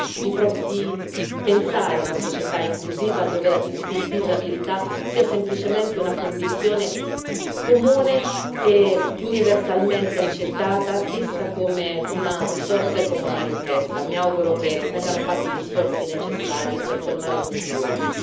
Questo purtroppo ci dimostra semplicemente che non siamo ancora in grado di pensare una società inclusiva, dove la disabilità sia semplicemente una condizione comune e universalmente accettata, vista come una risorsa e come una ricchezza.